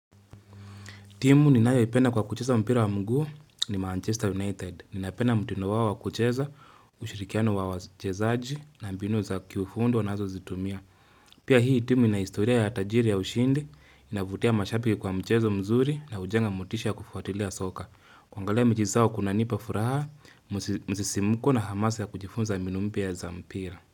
Timu ninayoipenda kwa kucheza mpira wa mguu ni Manchester United. Ninapenda mtino wawa kucheza, ushirikiano wa wachezaji na mbinu za kufundi wanazozitumia. Pia hii timu ina historia ya tajiri ya ushindi, inavutia mashapi kwa mchezo mzuri na ujenga mutisha kufuatilea soka. Kuangalia mechi zao kunanipa furaha, msisimuko na hamasa ya kujifunza mbinu mpya za mpira.